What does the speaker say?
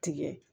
Tigɛ